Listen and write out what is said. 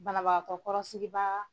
Banabagakatɔ kɔrɔsigibaa